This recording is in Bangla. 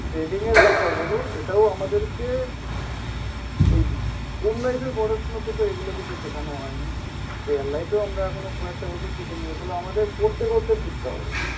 ট্রেডিংয়ের ব্যাপার হলো এটাও আমাদেরকে ওই স্কুল লাইফের পড়াশুনাতে এগুলো কিছু শেখানো হয়নি, রিয়েল লাইফেও আমরা খুব একটা বেশি এগুলো আমাদের করতে করতে শিখতে হবে।